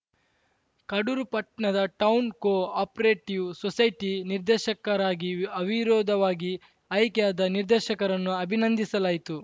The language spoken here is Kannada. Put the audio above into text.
ಕಡೂರು ಪಟ್ನಾದ ಟೌನ್‌ ಕೋ ಅಪರೇಟಿವ್‌ ಸೊಸೈಟಿ ನಿರ್ದೇಶಕರಾಗಿ ಅವಿರೋಧವಾಗಿ ಆಯ್ಕೆಯಾದ ನಿರ್ದೇಶಕರನ್ನು ಅಭಿನಂದಿಸಲಾಯಿತು